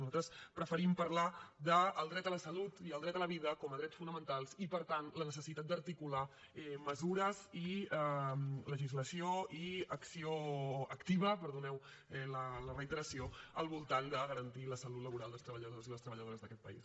nosaltres preferim parlar del dret a la salut i el dret a la vida com a drets fonamentals i per tant la necessitat d’articular mesures i legislació i acció activa perdoneu la reiteració al voltant de garantir la salut laboral dels treballadors i les treballadores d’aquest país